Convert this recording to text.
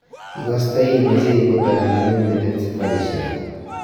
Igastoi imache ibut anan amin metit safarishek ata ?